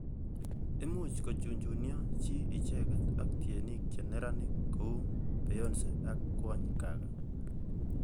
Imuch kochunchunio chi icheket ak tienik che neranik kou Beyonce ak Kwony Gaga.